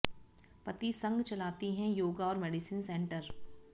पति संग चलाती हैं योगा और मेडिसिन सेंटर